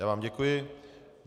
Já vám děkuji.